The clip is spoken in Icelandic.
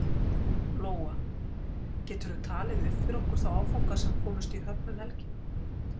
Lóa: Geturðu talið upp fyrir okkur þá áfanga sem komust í höfn um helgina?